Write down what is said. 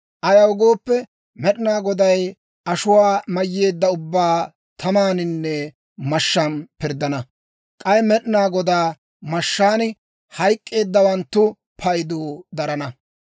Ayaw gooppe, Med'inaa Goday ashuwaa mayyeedda ubbaa tamaaninne mashshaan pirddana. K'ay Med'inaa Godaa mashshaan hayk'k'eeddawanttu paydu darana.